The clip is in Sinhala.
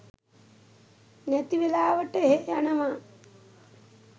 නැති වෙලාවට එහෙ යනවා